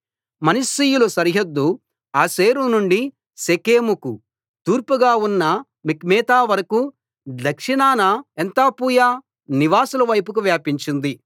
మనష్షీయుల సరిహద్దు ఆషేరు నుండి షెకెముకు తూర్పుగా ఉన్న మిక్మెతావరకూ దక్షిణాన ఏన్తప్పూయ నివాసుల వైపుకు వ్యాపించింది